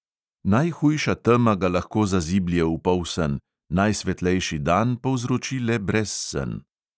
Najhujša tema ga lahko zaziblje v polsen, najsvetlejši dan povzroči le brezsen.